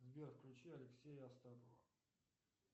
сбер включи алексея астапова